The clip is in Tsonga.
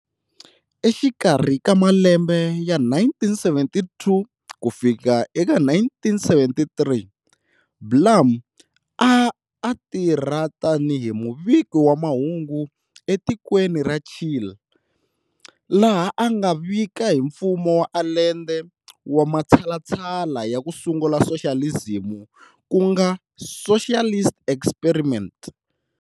Exikarhi ka malembe ya 1972-1973, Blum a a tirha tani hi muviki wa mahungu etikweni ra Chile laha a nga vika hi mfumo wa Allende wa matshalatshala ya ku sungula soxalizimu ku nga"socialist experiment".